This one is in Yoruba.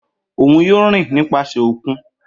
Oun yoo rin nipasẹ okun.